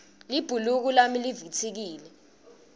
libhuluko lami livitsikile